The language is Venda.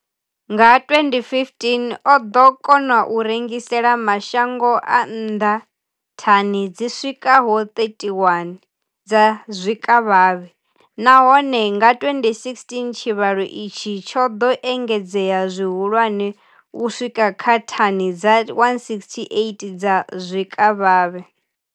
Nga 2015, o ḓo kona u rengisela mashango a nnḓa thani dzi swikaho 31 dza zwikavhavhe, nahone nga 2016 tshivhalo itshi tsho ḓo engedzea zwihulwane u swika kha thani dza 168 dza zwikavhavhe.